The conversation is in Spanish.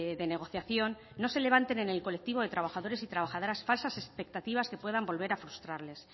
de negociación no se levanten en el colectivo de trabajadores y trabajadoras falsas expectativas que puedan volver a frustrarles